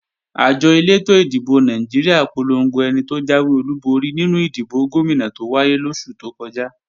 Àjọ elétò ìdìbò Nàìjíríà polongo ẹni tó jáwé olúborí nínú ìdìbò Gómìnà tó wáyé lóṣù tó kọjá